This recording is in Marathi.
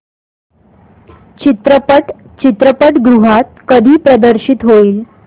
चित्रपट चित्रपटगृहात कधी प्रदर्शित होईल